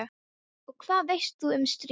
Og hvað veist þú um stríð?